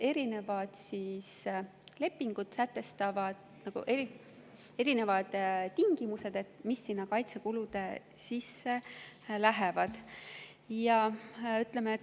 Erinevad lepingud sätestavad erinevad tingimused, mis kaitsekulude sisse lähevad.